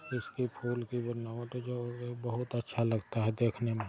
इसकी फूल की बनावट जो है बहुत अच्छा लगता है देखने में |